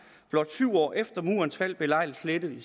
blot syv år efter murens fald belejligt slettet i